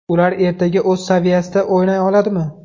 Ular ertaga o‘z saviyasida o‘ynay oladimi?